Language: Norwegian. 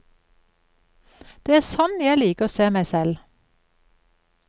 Det er sånn jeg liker å se meg selv.